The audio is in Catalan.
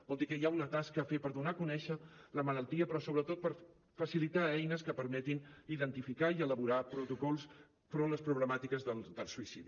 vol dir que hi ha una tasca a fer per donar a conèixer la malaltia però sobretot per facilitar eines que permetin identificar i elaborar protocols davant les problemàtiques del suïcidi